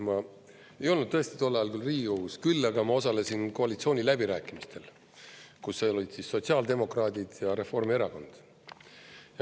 Ma ei olnud tõesti tol ajal Riigikogus, küll aga ma osalesin koalitsiooniläbirääkimistel, kus olid sotsiaaldemokraadid ja Reformierakond.